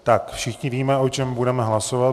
Všichni víme, o čem budeme hlasovat.